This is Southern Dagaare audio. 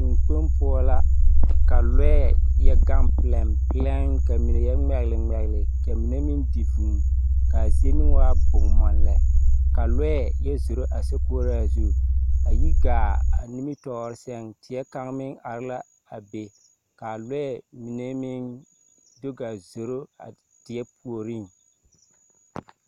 Teŋkpoŋ poɔ la ka lɔɛɛ yɛ gaŋ pelɛmpelɛm, kyɛ kaa mine meŋ ŋmɛgele ŋmɛgele. Kaa mine meŋ di vūū, kaa zie meŋ waa bomm ma lɛ. Ka lɔɛ yɛ zoro a sokoɔraa zu. A yi gaa a nimitɔɔre ŋaa seŋ, teɛ kaŋ meŋ are la a be, kaa lɔɛɛ mine meŋ do gaa zoro a teɛ puoriŋ.